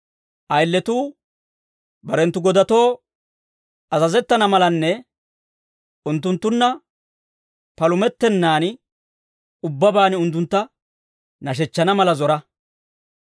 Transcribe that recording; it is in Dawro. Ayiletuu barenttu godatoo azazettana malanne, unttunttunna palumettennan ubbabaan unttuntta nashechchana mala zora.